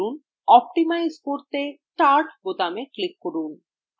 optimize করতে start বোতামে click করুন